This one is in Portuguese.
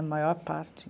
A maior parte.